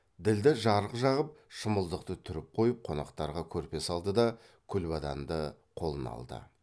ділдә жарық жағып шымылдықты түріп қойып қонақтарға көрпе салды да күлбаданды қолына алды